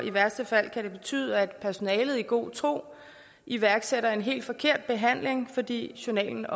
i værste fald betyde at personalet i god tro iværksætter en helt forkert behandling fordi journalen